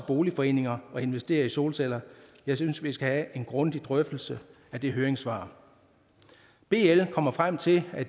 boligforeninger at investere i solceller jeg synes vi skal have en grundig drøftelse af det høringssvar bl kommer frem til at